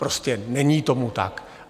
Prostě není tomu tak.